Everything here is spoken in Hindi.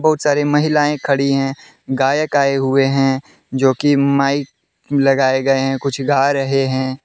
बहुत सारी महिलाएं खड़ी हैं गायक आए हुए हैं जो कि माइक लगाए गए हैं कुछ गा रहे हैं।